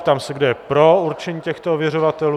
Ptám se, kdo je pro určení těchto ověřovatelů.